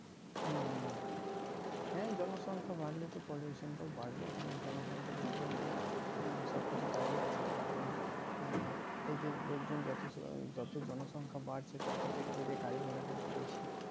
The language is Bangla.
হুম হুম হুম হ্যাঁ জনসংখ্যা বাড়লে তো pollution টাও বাড়বে কারণ জনসংখ্যার ওপরে তো আহ সবকিছু দাড়িয়েছে কারণ আহ এই যে লোকজন যত যতো জনসংখ্যা বাড়ছে তত দেখবে কিন্তু গাড়ি ঘোড়া কিন্তু বেশি